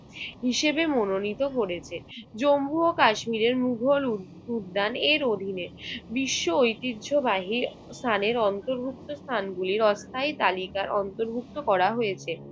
হিসেবে মনোনীত করেছে। জম্বু ও কাশ্মীরের মোগল উ~ উদ্যান এর অধীনে। বিশ্ব ঐতিহ্যবাহী স্থানের অন্তর্ভুক্ত স্থানগুলির অস্থায়ী তালিকায় অন্তর্ভুক্ত করা হয়েছে।